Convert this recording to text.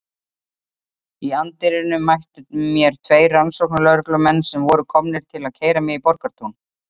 Í anddyrinu mættu mér tveir rannsóknarlögreglumenn sem voru komnir til að keyra mig í Borgartún.